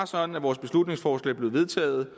sådan at vores beslutningsforslag blev vedtaget